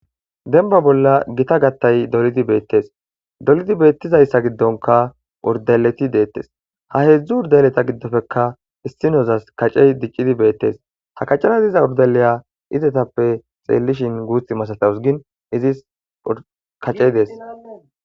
Denba bolla gita gattay dolidi beettes dolidi beettizayssa giddonka urdeleti deettes ha heedzdzu urdeleta giddofeka issinozas kacey diccidi beettes ha kacana iza urdeleya izetappe xeellishin guut masatahusgin izis kacey dees